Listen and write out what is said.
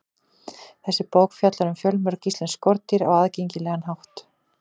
Þessi bók fjallar um fjölmörg íslensk skordýr á aðgengilegan hátt.